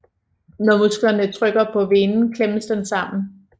Når musklerne trykker på venen klemmes den sammen